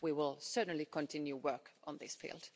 We will certainly continue work on this field.